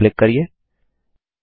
next पर click करिये